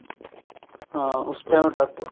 ਹਾਂ ਉਸ time ਡਾਕੂ